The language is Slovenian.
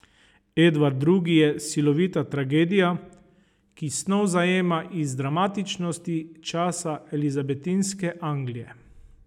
Edvard Drugi je silovita tragedija, ki snov zajema iz dramatičnosti časa elizabetinske Anglije.